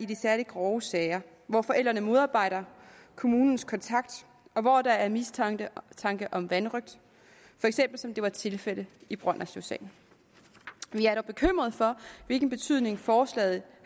de særlig grove sager hvor forældrene modarbejder kommunens kontakt og hvor der er mistanke om vanrøgt for eksempel som det var tilfældet i brønderslevsagen vi er dog bekymret for hvilken betydning forslaget